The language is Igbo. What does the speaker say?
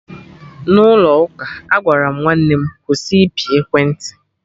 n'ụlọ ụka, Agwaram nwanne m "kwụsị ịpị ekwentị"